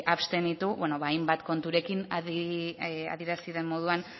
abstenitu bueno ba hainbat konturekin adierazi den moduan